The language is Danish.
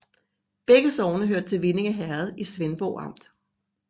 Begge sogne hørte til Vindinge Herred i Svendborg Amt